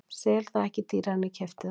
Sel það ekki dýrara en ég keypti það.